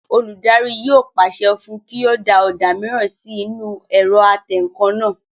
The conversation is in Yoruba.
Olùdarí yóò pàṣẹ fún un kí ó da ọ̀dà mìíràn sí inú ẹ̀rọ atẹǹkan náà